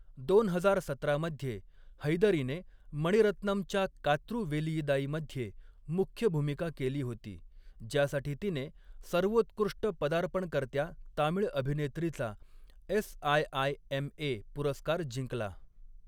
दोन हजार सतरा मध्ये, हैदरीने मणिरत्नमच्या कात्रु वेलीयिदाईमध्ये मुख्य भूमिका केली होती, ज्यासाठी तिने सर्वोत्कृष्ट पदार्पणकर्त्या तामिळ अभिनेत्रीचा एस.आय.आय.एम.ए. पुरस्कार जिंकला.